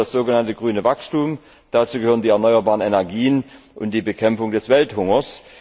Dazu gehört das sogenannte grüne Wachstum, dazu gehören die erneuerbaren Energien und die Bekämpfung des Welthungers.